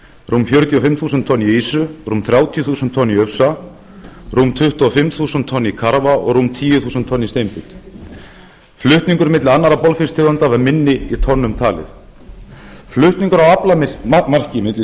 rúm fjörutíu og fimm tonn í ýsu rúm þrjátíu þúsund tonn í ufsa rúm tuttugu og fimm þúsund tonn í karfa og rúm tíu þúsund tonn í steinbít flutningur milli annarra botnfisktegunda var minni í tonnum talið flutningur á aflamarki á milli